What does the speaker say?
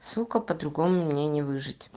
сука по-другому мне не выжить